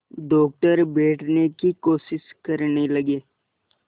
doctor बैठने की कोशिश करने लगे